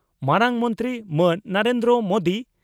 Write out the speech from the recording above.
ᱢᱟᱨᱟᱝ ᱢᱚᱱᱛᱨᱤ ᱢᱟᱱ ᱱᱚᱨᱮᱱᱫᱨᱚ ᱢᱚᱫᱤ